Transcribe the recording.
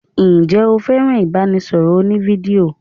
Ǹjẹ́ o fẹ́ràn ibanisoro òní-fídíò?